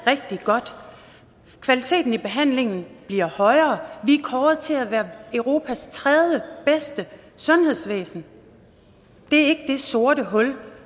rigtig godt kvaliteten i behandlingen bliver højere vi er kåret til at have europas tredjebedste sundhedsvæsen det er ikke det sorte hul